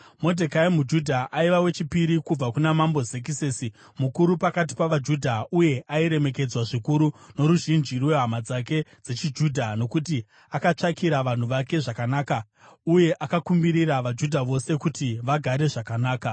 Modhekai muJudha aiva wechipiri kubva kuna Mambo Zekisesi, mukuru pakati pavaJudha, uye airemekedzwa zvikuru noruzhinji rwehama dzake dzechiJudha, nokuti akatsvakira vanhu vake zvakanaka uye akakumbirira vaJudha vose kuti vagare zvakanaka.